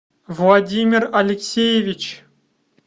владимир алексеевич